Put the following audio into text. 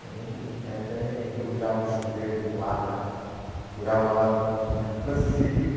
Minha mãe eh até improvisava um chuveiro com lata, furava a lata no final, assim.